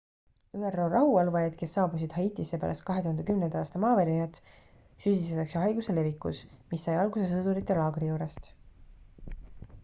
üro rahuvalvajaid kes saabusid haitisse pärast 2010 aasta maavärinat süüdistatakse haiguse levikus mis sai alguse sõdurite laagri juurest